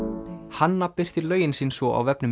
hanna birtir lögin sín svo á vefnum